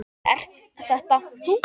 Er þetta þú?